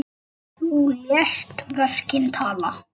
Þú lést verkin tala.